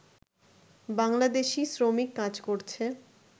বাংলাদেশি শ্রমিক কাজ করছে